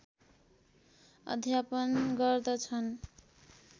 अध्यापन गर्दछन्